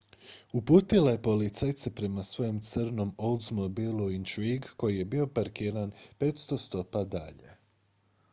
uputila je policajce prema svojem crnom oldsmobilu intrigue koji je bio parkiran 500 stopa dalje